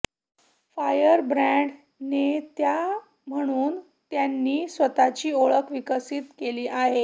firebrand नेत्या म्हणून त्यांनी स्वतःची ओळख विकसित केली आहे